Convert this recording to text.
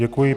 Děkuji.